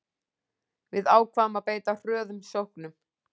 Við ákváðum að beita hröðum sóknum